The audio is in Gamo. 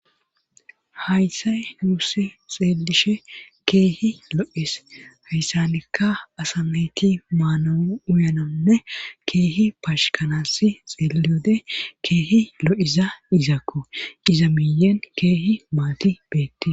hayssay yuussi xeelishe keehi lo7es hayssanikka asameyti maana uyanonne keehi paashkanasi xeeliode keehi lo7iza izakku qiza miyen keehi maati beette